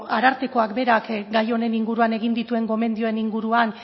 arartekoak berak gai honen inguruan egin dituen gomendioen inguruan